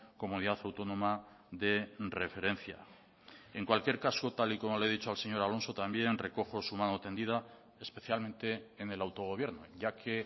comunidad autónoma de referencia en cualquier caso tal y como le he dicho al señor alonso también recojo su mano tendida especialmente en el autogobierno ya que